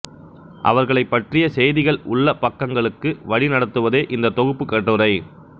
அவர்களைப் பற்றிய செய்திகள் உள்ள பக்கங்களுக்கு வழிநடத்துவதே இந்தத் தொகுப்புக் கட்டுரை